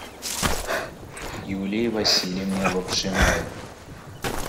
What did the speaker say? юлии васильевне лапшиной